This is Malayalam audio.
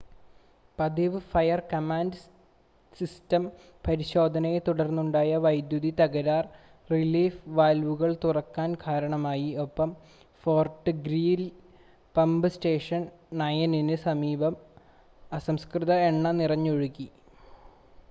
പതിവ് ഫയർ-കമാൻഡ് സിസ്റ്റം പരിശോധനയെത്തുടർന്നുണ്ടായ വൈദ്യുതി തകരാർ റിലീഫ് വാൽവുകൾ തുറക്കാൻ കാരണമായി ഒപ്പം ഫോർട്ട് ഗ്രീലി പമ്പ് സ്റ്റേഷൻ 9-ന് സമീപം അസംസ്കൃത എണ്ണ നിറഞ്ഞൊഴുകി